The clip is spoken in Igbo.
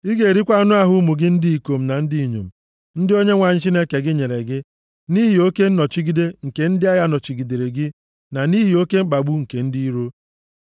Ị ga-erikwa anụ ahụ ụmụ gị ndị ikom na ndị inyom ndị Onyenwe anyị Chineke gị nyere gị nʼihi oke nnọchigide nke ndị agha nọchigidere gị na nʼihi oke mkpagbu nke ndị iro.